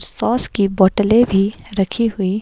sauce की बोतलें भी रखी हुई--